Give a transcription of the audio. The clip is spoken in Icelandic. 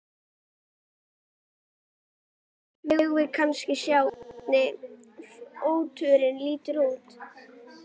Guðjón Helgason: Megum við kannski sjá hvernig fóturinn lítur út?